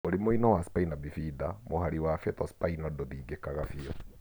Mũrimũinĩ wa spina bifida, mũhari wa fetal spinal ndũthingĩkaga biũ.